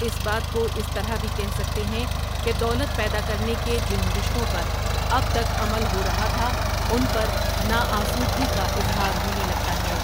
اس بات کواس طرح بھی کہہ سکتے ہیں کہ دولت پیدا کرنے کے جن رشتوں پر اب تک عمل ہو رہا تھا، ان پر نا آسو دگی کا اظہار ہونے لگتا ہے ۔